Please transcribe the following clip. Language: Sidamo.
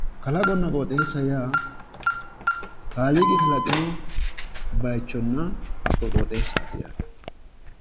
Kalaqonna qoxeessa yaa kaliiqi kalaqino bayichonna hakko qoxessaati yaate